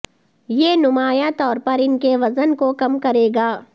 یہ نمایاں طور پر ان کے وزن کو کم کرے گا